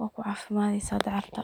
waku caafimadeysa dacarta